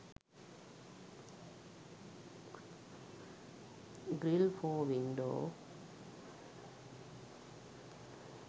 grill for window